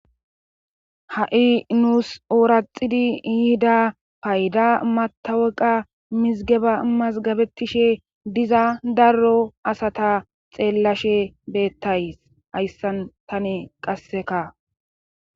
ha7i nuus ooraxidi yihida payda mataweqa mizigeba mazgabettishe diza darro asata xeellashe beettays hayssan tane qasseka